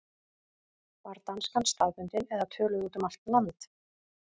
Var danskan staðbundin eða töluð út um allt land?